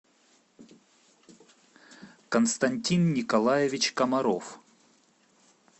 константин николаевич комаров